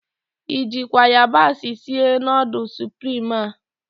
I jịkwa ayabasị sie nudul suprim a?